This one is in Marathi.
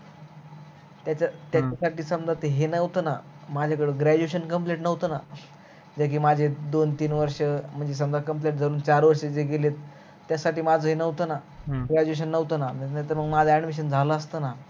त्याच्यासठी समजा हे न्हवत त graduation complete न्हवत न जे कि माझे दोन तीन वर्ष म्हणजे complete धरून चार वर्ष जे गेलेत त्या साठी माझ हे न्हवत न graduation न माझ admission झाल असत ना